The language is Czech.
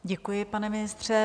Děkuji, pane ministře.